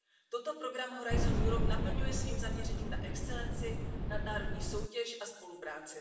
Toto program Horizont Europe naplňuje svým zaměřením na excelenci, nadnárodní soutěž a spolupráci.